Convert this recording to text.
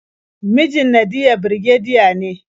Mijin Nadiya birgediya ne.